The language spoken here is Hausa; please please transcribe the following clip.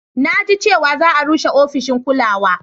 Na ji cewa za a rushe ofishin ƙulawa